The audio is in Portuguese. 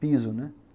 Piso, né?